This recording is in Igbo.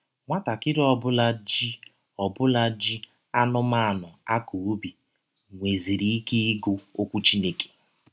Nwatakịrị ọ bụla ji ọ bụla ji anụmanụ akọ ubi nweziri ike ịgụ Ọkwụ Chineke.